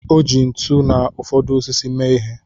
O ji ntu na ụfọdụ osisi mee ihe.